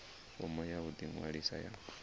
fomo ya u ḓiṅwalisa ya